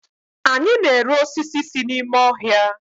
anyi na-ere osisi si n'ime ohia